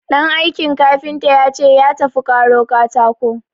Ɗan aikin kafinta ya ce ya tafi karo katako.